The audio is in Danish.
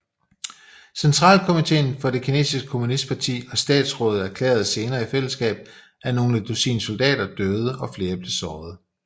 Centralkomitéen for det kinesiske kommunistparti og Statsrådet erklærede senere i fællesskab at nogle dusin soldater døde og flere blev såret